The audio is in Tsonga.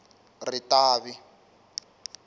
ritavi